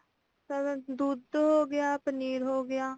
ਪਹਿਲਾਂ ਦੁੱਧ ਹੋ ਗਿਆ ਪਨੀਰ ਹੋ ਗਿਆ